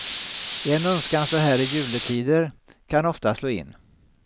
En önskan så här i juletider kan ofta slå in.